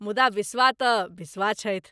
मुदा बिश्वा तँ बिश्वा छथि।